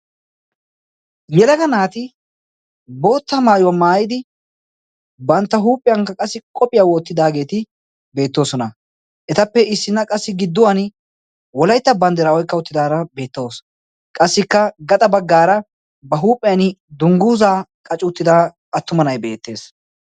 Yelaga naati bootta maayuwaa maayidi bantta huuphiyaakka qassi qohphiyaa woottidaageeti beettoosona. etappe issinna qassi gidduwan wolaytta banddiraawoi kawuttidaara beettoos qassikka gaxa baggaara ba huuphiyan dungguuzaa qacuuttida attuma na'ay beettees.